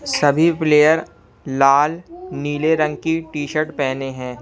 सभी प्लेयर लाल नीले रंग की टी शर्ट पहने हैं।